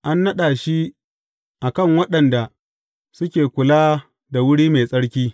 An naɗa shi a kan waɗanda suke kula da wuri mai tsarki.